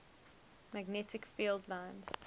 magnetic field lines